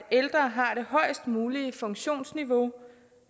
højest mulige funktionsniveau